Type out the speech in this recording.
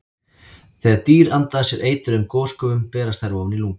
Þegar dýr anda að sér eitruðum gosgufum berast þær ofan í lungu.